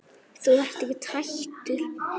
Þú ert ekkert hættur?